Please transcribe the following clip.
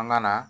An nana